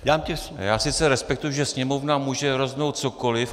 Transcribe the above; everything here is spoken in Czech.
Já sice respektuji, že Sněmovna může rozhodnout cokoliv.